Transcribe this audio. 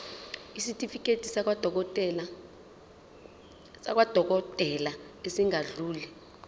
isitifiketi sakwadokodela esingadluli